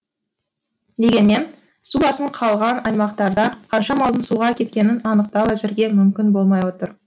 дегенмен су басып қалған аймақтарда қанша малдың суға кеткенін анықтау әзірге мүмкін болмай отыр